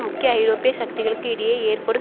முக்கிய ஐரோப்பிய சக்திகளுக்கு இடையே ஏற்படும்